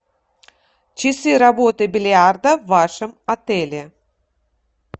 часы работы бильярда в вашем отеле